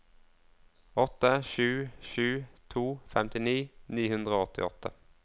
åtte sju sju to femtini ni hundre og åttiåtte